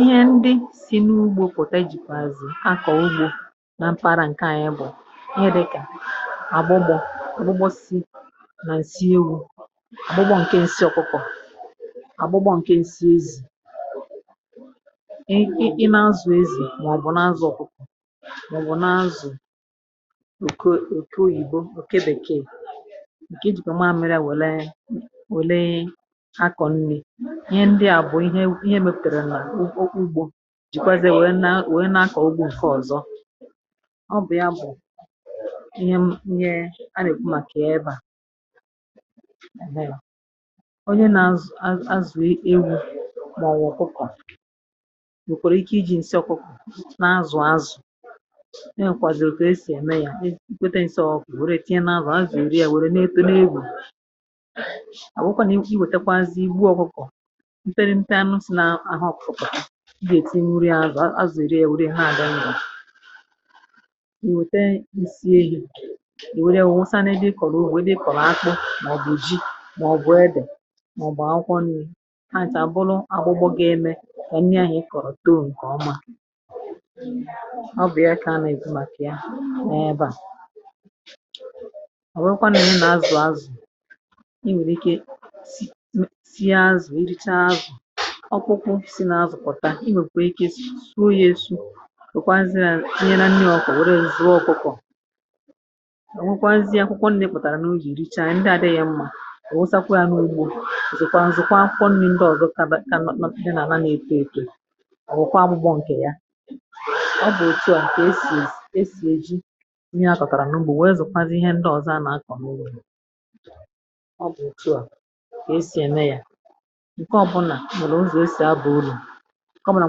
ihe ndị si n’ugbȯ pụ̀ta, ejìkwàzì akọ̀ ugbȯ na mpara. ǹkè ànyị bụ̀ ihe dị̇kà agbụgbọ̇ agbụgbọ si nà-èsi ewu, agbụgbọ̇ ǹkè nsị ọkụkọ̀, agbụgbọ̇ ǹkè nsị ezì. i na-azụ̀ ezì, màọ̀bụ̀ na-azụ ọ̀kụkpụ̀, màọ̀bụ̀ na-azụ̀ èke, oyìbo, òke, bèkee. ihe ndị à bụ̀ ihe, ihe m pètèrè n’okwu ugbȯ jìkwazè wèe na-akọ̀ ugwu. ǹke ọ̀zọ, ọ bụ̀ ya bụ̀ ihe ǹke a nà-èkwu màkà ya. ebȧ onye nà-azụ̀ ewu, màọbụ̀ hụkwà nwèkwàrụ̀ ike iji̇ ǹsị ọ̀kwụkwà nà-azụ̀ azụ̀. e nwèkwàdùrù kà esì ème ya. i kwete ǹsị ọkụ̀, wère tinye nà-azụ̀ azụ̀, èri ya. wère n’ekȯ n’egwù, mterimpe, anụ̀ sị̀ nà ahà ọ̀kụ̀kọ̀ di èti nuri̇. azụ̀ azụ̀ erie, èwere ha adi n’ụ̀ọ̀, èwère isi elu̇, èwere wusa n’edì. ị kọ̀rọ̀ wèe dị, ị kọ̀rọ̀ akpụ̇, mà ọ̀ bụ̀ ji, màọ̀bụ̀ edè, màọ̀bụ̀ akwụkwọ nì. ha chà bụrụ agbụgbọ, gȧ-eme kà nni àhà ị kọ̀rọ̀ tommȧ ǹkè ọma. ọ bụ̀ ya kà a na-èju màkà ya. n’ebe à, ọ̀ nwekwa nà m nà azụ̀ azụ̀, ọ̀kwụkwụ si na azụ̀kpọ̀ta. i nwèrè ike oyėsu inye na nyoọkụ, wère nzuo ọkụkọ. ò nwekwazie akwụkwọ nnekpàrà n’oge ericha, ǹdị adịghị mmȧ ò wụsakwa ya n’ugbȯ. zùkwa nzụkwa akwụkwọ nri ndị ọ̀zọ ka na nọpụ̀ dị n’ana, na-epė eto. ò wụ̀kwa agbụgbọ ǹkè ya. ọ bụ̀ òtù a kà esì esì ejì inye akọ̀kàrà n’ugbȯ, wee zụ̀kwazị ihe ndị ọ̀zọ a nà-akọ̀ n’ugbȯ. ǹkẹ ọ̀bụlà mèrè ụzọ̀ osì, a bụ̀ ụlọ̀. ǹkẹ ọ bụlà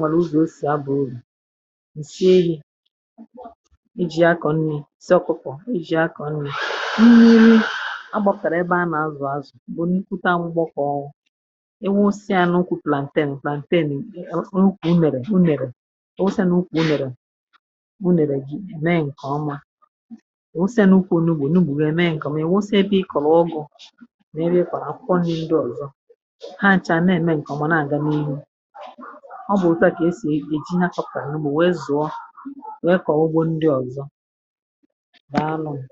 mèrè uzì osì, a bụ̀ ụlọ̀. ǹsị elu̇ iji̇ akọ̀ nnì, sir kukwọ̀ iji̇ akọ̀ nnì, agbọ̀kàrà. ebe à nà azụ̀ azụ̀ m̀bụ̀ nkwụta, m̀gbọkọ̀ ọọkụ. inwe osì à nà ukwu̇, plantain, plantain. ǹkwù n’ụsị a nà ukwù, nèrè nèrè. usì a nà ukwù, nèrè. usì a nà ukwù, n’ugbo, n’ugbò, n’ugbò. mee ǹkè ọma, ewe osì a nà ukwù, n’ugbò, n’ugbò, n’ugbò, n’ugbò, wee mee ǹkè ọ̀ mà. ewe osì ebe ị kọ̀lọ̀ ọgụ̀ ha nchà, na-ème ǹkè ọ̀gbà na-àga n’ihu. ọ bụ̀ òtù à kà esì èji hafọ̀kà n’ubì, wee zụ̀ọ, wee kà ọ̀gbụgbọ ndị ọ̀zọ. dàalụ nù.